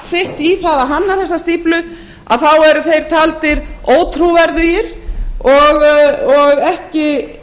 sitt í að hanna þessa stíflu þá eru þeir taldir ótrúverðugir og ekki